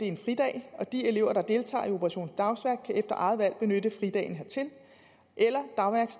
en fridag og de elever der deltager i operation dagsværk kan efter eget valg benytte fridagen hertil eller